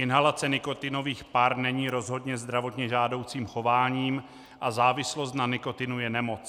Inhalace nikotinových par není rozhodně zdravotně žádoucím chováním a závislost na nikotinu je nemoc.